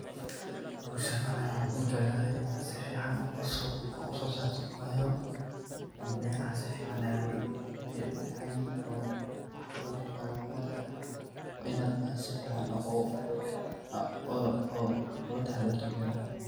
Howshan ani waxan kujeclade si fican oga so sarto wayo beraha si fican ayey u fican yihin oo waxa laga so saraa khudarta waa inaa si fican aad oga taxa darto.